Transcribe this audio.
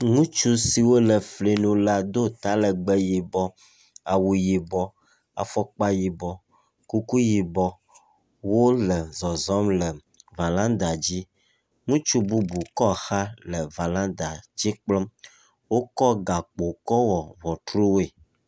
Ŋutsu siwo le fli lo la do ta legbe yibɔ awu yibɔ afɔkpa yibɔ kuku yibɔ wole zɔzɔm le valanda dzi. Ŋutsu bubu kɔ xa le valanda dzi kplɔm, wokɔ gakpowo wɔ ŋɔtruawoe.